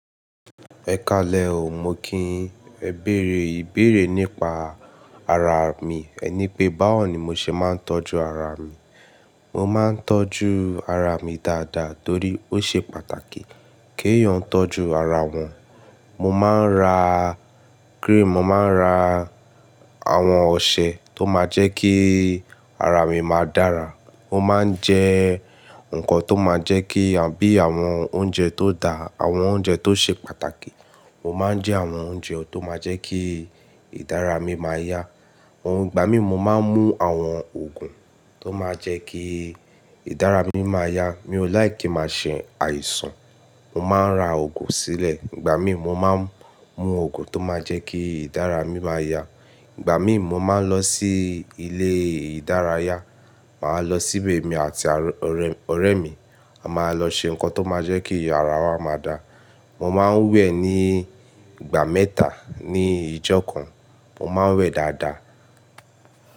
Ẹ ka lẹ o, mo ki ẹ bẹ̀rẹ̀ ìbẹ̀rẹ̀ nípa ara mi. Ẹ ní pé báwo ni mo ṣe máa ń tọ́jú ara mi. Mo máa ń tọ́jú ara mi dáadáa torí ó ṣe pàtàkì kí èèyàn tọ́jú ara wọn. Mo máa ń ra cream, mo máa ń ra àwọn ọṣẹ tó máa jẹ́ kí ara mi máa dára. Mo máa ń jẹ nǹkan tó máa jẹ́ kí bí àwọn oúnjẹ tó da, àwọn oúnjẹ tó ṣe pàtàkì. Mo máa ń jẹ àwọn oúnjẹ tó máa jẹ́ kí ìdára mi máa yá. Ìgbà mí mo máa ń mú àwọn òògùn tó máa jẹ́ kí ìdára mi máa yá. Mi ò láìkì kí máa ṣe àìsàn. Mo máa ń ra òògùn sílẹ̀ ìgbà mí mo máa ń mú òògùn tó máa jẹ́ kí ìdára mi máa yá. Ìgbà mí mo máa ń lọ sí ilé ìdárayá. Màá lọ síbè mi àti ọ̀rẹ́ mi, a máa lọ ṣe nǹkan tó máa jẹ́ kí ara wa máa da. Mo máa ń wẹ̀ ní ìgbà mẹ́ta ní ìjọ kan. Mo máa ń wẹ̀ dáadáa.